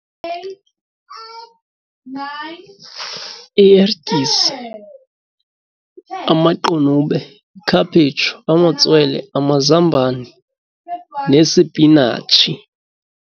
Iertyisi, amaqunube, ikhaphetshu, amatswele, amazambane nesipinatshi.